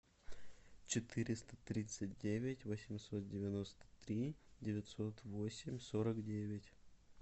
четыреста тридцать девять восемьсот девяносто три девятьсот восемь сорок девять